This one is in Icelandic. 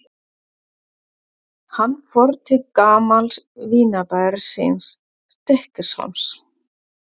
Hann fór til gamals vinabæjar síns, Stykkishólms.